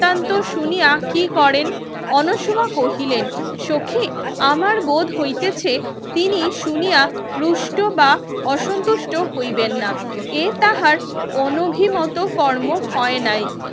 বৃত্তান্ত শুনিয়া কি করেন অনোসোমা কহিলেন সখি আমার বোধ হইতেছে তিনি শুনিয়া রুষ্ট বা অসুন্তুষ্ট হইবেন না এ তাহার অনভিমত কর্ম হয়নাই